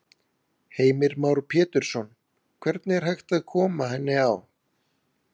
Heimir Már Pétursson: Hvernig er hægt að koma henni á?